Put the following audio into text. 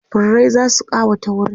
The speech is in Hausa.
furrai zasu kawata wurin